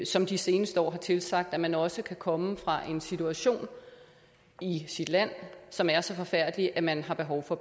som de seneste år har tilsagt at man også kan komme fra en situation i sit land som er så forfærdelig at man har behov for